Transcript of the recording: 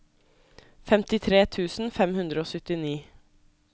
femtitre tusen fem hundre og syttini